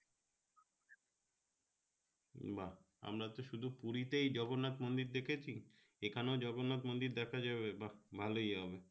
বা আমরা শুধু পুরি তে জগন্নাথ মন্দির দেখেছি এখানে জগন্নাথ মন্দির দেখা যাবে বা ভালোই হবে